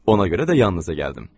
Ona görə də yanınıza gəldim.